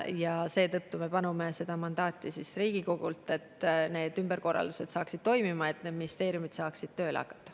Ja seetõttu me palume Riigikogult mandaati, et need ümberkorraldused saaksid toimima, et need ministeeriumid saaksid tööle hakata.